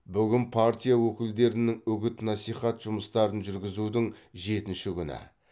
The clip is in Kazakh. бүгін партия өкілдерінің үгіт насихат жұмыстарын жүргізудің жетінші күні